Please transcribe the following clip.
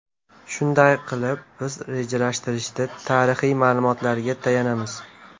Shunday qilib, biz rejalashtirishda tarixiy ma’lumotlarga tayanamiz.